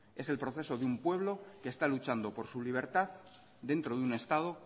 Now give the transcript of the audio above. es el proceso de un pueblo que está luchando por su libertad dentro de un estado